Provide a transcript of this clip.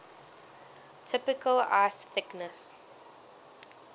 typical ice thickness